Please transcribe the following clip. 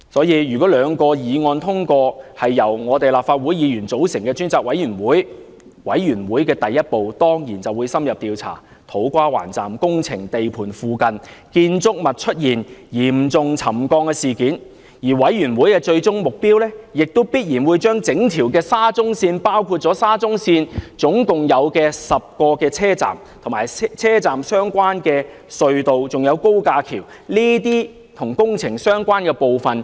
因此，如果兩項議案獲得通過，由立法會議員組成專責委員會，第一步當然是深入調查土瓜灣站工程地盤附近建築物出現嚴重沉降的事件，而專責委員會的最終目標，亦必然是針對整條沙中線，包括沙中線合共10個車站、車站相關的隧道及高架橋，全面調查這些與工程相關的部分。